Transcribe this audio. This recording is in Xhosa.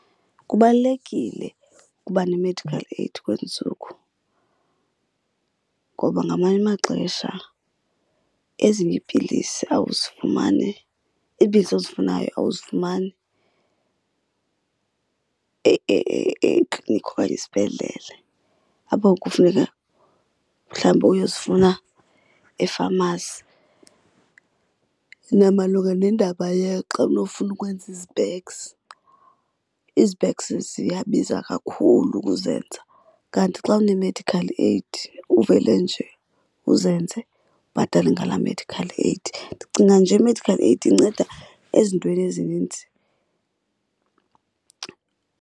Kubalulekile ukuba ne-medical aid kwezi ntsuku ngoba ngamanye amaxesha ezinye iipilisi awuzifumani, iipilisi ozifunayo awuzifumani eklinikhi okanye esibhedlele apho kufuneka mhlawumbi uyozifuna efamasi. Namalunga nendaba xa unofuna ukwenza izipeks, izipeks ziyabiza kakhulu ukuzenza, kanti xa une-medical aid uvele nje uzenze ubhatale ngalaa medical aid. Ndicinga nje i-medical aid inceda ezintweni ezininzi.